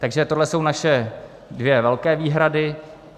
Takže to jsou naše dvě velké výhrady.